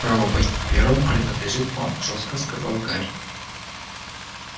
право пойти первым принадлежит вам жёстко сказал гарри